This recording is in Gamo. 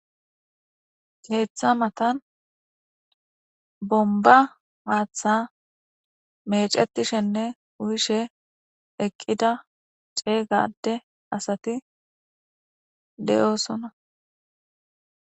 Keeththa matan bomba maaththa mecetishenne uyishe eqqida ceeygade asati de'oosona.